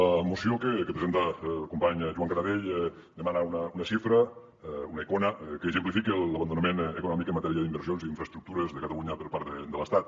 la moció que presenta el company joan canadell demana una xifra una icona que exemplifica l’abandonament econòmic en matèria d’inversions i infraestructures de catalunya per part de l’estat